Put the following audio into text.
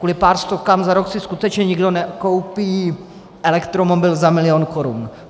Kvůli pár stovkám za rok si skutečně nikdo nekoupí elektromobil za milion korun.